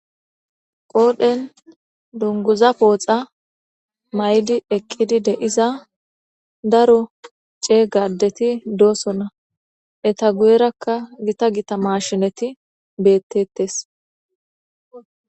qoodhen dunguza pooxa maydi eqqidi deiza daro cee gadeti doosona eta guyerakka gita gita mashinati beettettes